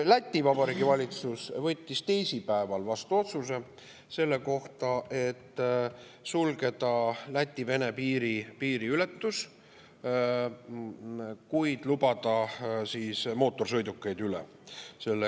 Läti Vabariigi valitsus võttis teisipäeval vastu otsuse sulgeda Läti-Vene piiri ületus, kuid erandiga lubada üle mootorsõidukeid.